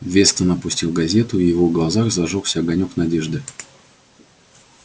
вестон опустил газету и в его глазах зажёгся огонёк надежды